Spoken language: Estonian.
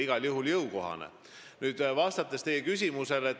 Vastan nüüd teie küsimusele.